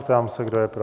Ptám se, kdo je pro?